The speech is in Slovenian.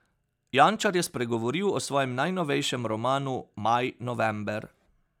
Jančar je spregovoril o svojem najnovejšem romanu Maj, november.